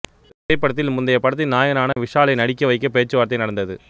இந்தத் திரைப்படத்தில் முந்தைய படத்தின் நாயகனான விஷாலையே நடிக்க வைக்க பேச்சு வார்த்தை நடந்தது